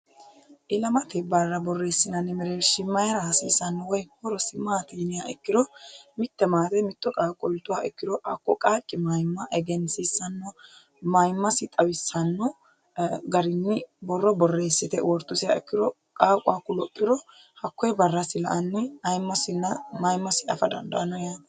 ilamate barra borreessinanni mereerish mayira hasiisanno woy horosi maati yiniha ikkiro mitte maate mitto qaaqqo iltuha ikkiro hakko qaaqqi mayimma egensiissanno mayimmasi xawissanno garinni borro borreessite wortusiha ikkiro qaaqu hakku lophiha ikkiro hakkoyi barrasi la"anni aimmosinna mayimmosi afa dandaanno yao